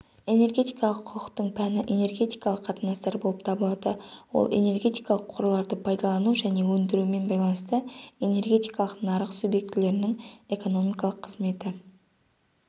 энергетикалық құқықтың пәні энергетикалық қатынастар болып табылады ол энергетикалық қорларды пайдалану және өндірумен байланысты энергетикалық нарық субъектілерінің экономикалық қызметі